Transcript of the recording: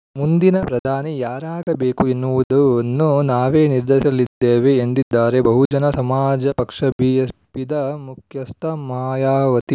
ಮುಂದಿನ ಪ್ರಧಾನಿ ಯಾರಾಗಬೇಕು ಎನ್ನುವುದನ್ನು ನಾವೇ ನಿರ್ಧರಿಸಲಿದ್ದೇವೆ ಎಂದಿದ್ದಾರೆ ಬಹುಜನ ಸಮಾಜ ಪಕ್ಷಬಿಎಸ್‌ಪಿದ ಮುಖ್ಯಸ್ಥೆ ಮಾಯಾವತಿ